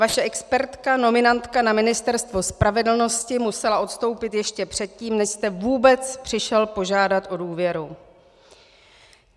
Vaše expertka, nominantka na Ministerstvo spravedlnosti musela odstoupit ještě předtím, než jste vůbec přišel požádat o důvěru.